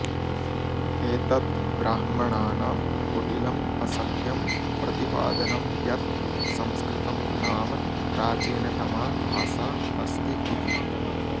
एतत् ब्राह्मणानां कुटिलम् असत्यं प्रतिपादनं यत् संस्कृतं नाम प्राचीनतमा भाषा अस्ति इति